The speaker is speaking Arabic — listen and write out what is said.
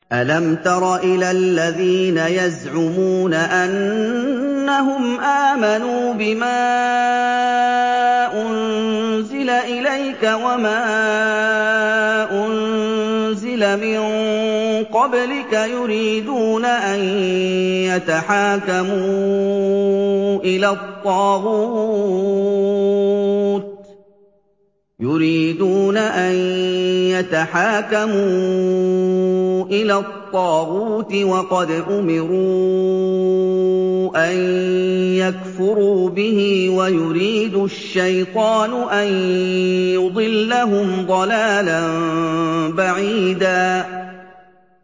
أَلَمْ تَرَ إِلَى الَّذِينَ يَزْعُمُونَ أَنَّهُمْ آمَنُوا بِمَا أُنزِلَ إِلَيْكَ وَمَا أُنزِلَ مِن قَبْلِكَ يُرِيدُونَ أَن يَتَحَاكَمُوا إِلَى الطَّاغُوتِ وَقَدْ أُمِرُوا أَن يَكْفُرُوا بِهِ وَيُرِيدُ الشَّيْطَانُ أَن يُضِلَّهُمْ ضَلَالًا بَعِيدًا